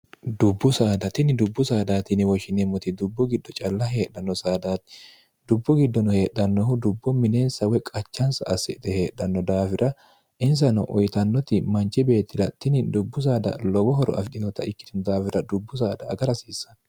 dubbu saadatini dubbu saadaatiniwoshineemmoti dubbu giddo calla heedhanno saadaati dubbu giddono heedhannohu dubbo mineensa wo qachansa assithe heedhanno daafira insano oyitannoti manchi beetilattini dubbu saada lowo horo afidhinota ikkitino daafira dubbu saada agara hasiissanno